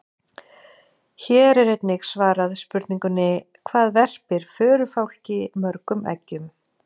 Hér er einnig svarað spurningunni: Hvað verpir förufálki mörgum eggjum?